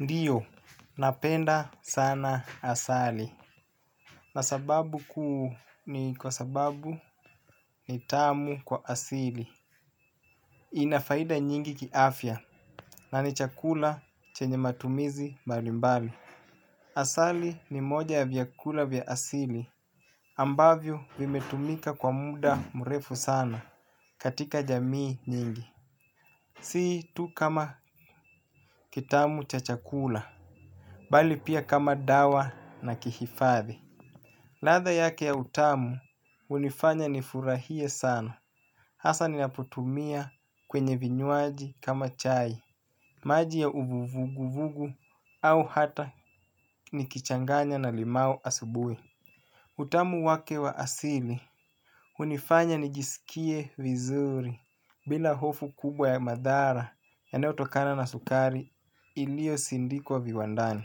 Ndiyo, napenda sana asali na sababu kuu ni kwa sababu ni tamu kwa asili. Ina faida nyingi kiafya na ni chakula chenye matumizi mbali mbali. Asali ni moja ya vyakula vya asili. Ambavyo vimetumika kwa mda mrefu sana katika jamii nyingi. Si tu kama kitamu cha chakula, bali pia kama dawa na kihifadhi. Ladha yake ya utamu hunifanya nifurahie sana. Hasa ninapotumia kwenye vinywaji kama chai. Maji ya uvugu vugu au hata nikichanganya na limau asubuhi. Utamu wake wa asili hunifanya nijisikie vizuri, bila hofu kubwa ya madhara yanayotokana na sukari ilio sindikwa viwandani.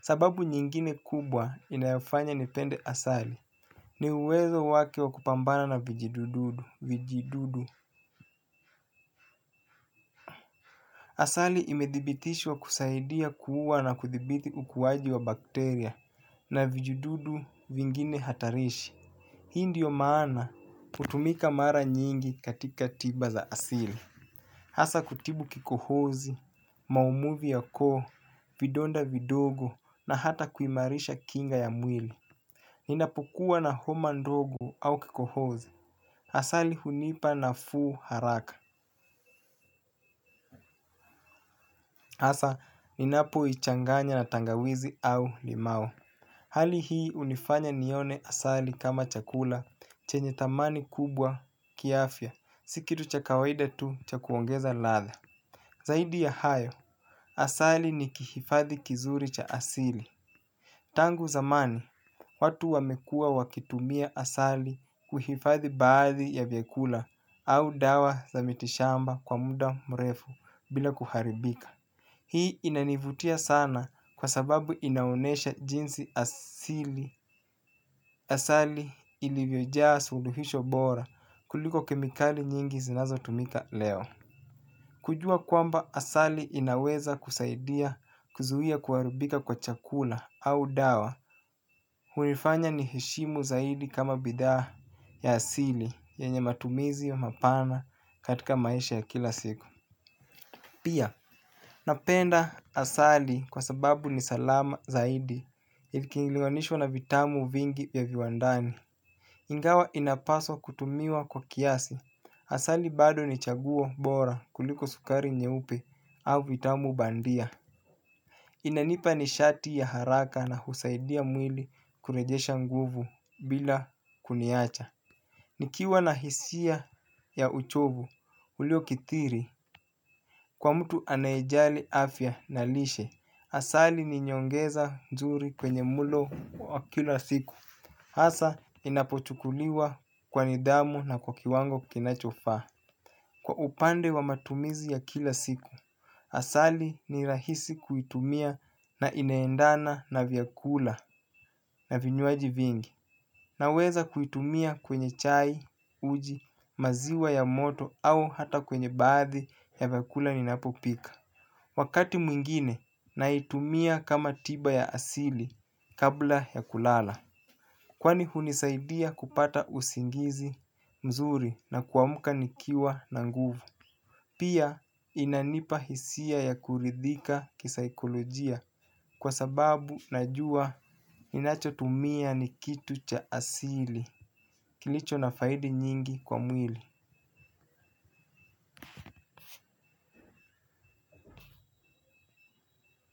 Sababu nyingine kubwa inayofanya nipende asali, ni uwezo wake wa kupambana na vijidududu, vijidudu. Asali imedhibitishwa kusaidia kuua na kuthibiti ukuwaji wa bakteria na vijidudu vingine hatarishi. Hii ndio maana hutumika mara nyingi katika tiba za asili. Hasa kutibu kikohozi, maumuvi ya koo, vidonda vidogo na hata kuimarisha kinga ya mwili. Ninapokuwa na homa ndogo au kikohozi. Asali hunipa nafuu haraka. Hasa, ninapo ichanganya na tangawizi au limau. Hali hii hunifanya nione asali kama chakula chenye thamani kubwa kiafya, si kitu cha kawaida tu cha kuongeza ladha. Zaidi ya hayo, asali ni kihifadhi kizuri cha asili. Tangu zamani, watu wamekuwa wakitumia asali kuhifadhi baadhi ya vyakula. Au dawa za mitishamba kwa muda mrefu bila kuharibika. Hii inanivutia sana kwa sababu inaonesha jinsi asili, asali ilivyojaa suluhisho bora kuliko kemikali nyingi zinazo tumika leo. Kujua kwamba asali inaweza kusaidia kuzuia kuharibika kwa chakula au dawa, hunifanya niheshimu zaidi kama bidhaa ya asili yenye matumizi mapana katika maisha ya kila siku. Pia, napenda asali kwa sababu ni salama zaidi. Ikilinganishwa na vitamu vingi ya viwandani. Ingawa inapaswa kutumiwa kwa kiasi, asali bado ni chaguo bora kuliko sukari nyeupe au vitamu bandia. Inanipa nishati ya haraka na husaidia mwili kurejesha nguvu bila kuniacha. Nikiwa na hisia ya uchovu, ulio kitiri kwa mtu anayejali afya na lishe, asali ni nyongeza nzuri kwenye mlo kila siku. Hasa inapochukuliwa kwa nidhamu na kwa kiwango kinachofaa. Kwa upande wa matumizi ya kila siku asali ni rahisi kuitumia na inaendana na vyakula na vinywaji vingi. Naweza kuitumia kwenye chai, uji, maziwa ya moto au hata kwenye baadhi ya vyakula ninapopika. Wakati mwingine, naitumia kama tiba ya asili kabla ya kulala. Kwani hunisaidia kupata usingizi mzuri na kuamka nikiwa na nguvu. Pia inanipa hisia ya kuridhika kisaikolojia kwa sababu najua ninachotumia ni kitu cha asili. Kilicho na faidi nyingi kwa mwili.